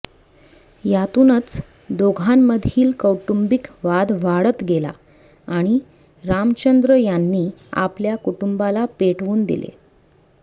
यातूनच दोघांमधील कौटुंबिक वाद वाढत गेला आणि रामचंद्र यांनी आपल्या कुटुंबाला पेटवून दिले